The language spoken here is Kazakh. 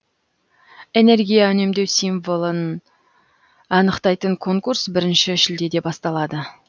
энергия үнемдеу символын анықтайтын конкурс бірінші шілдеде басталады